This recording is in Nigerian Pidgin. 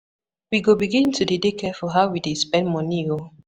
We go begin to de dey careful how we dey spend money o.